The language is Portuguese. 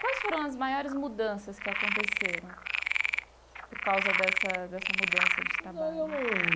Quais foram as maiores mudanças que aconteceram por causa dessa dessa mudança de trabalho?